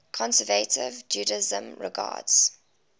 conservative judaism regards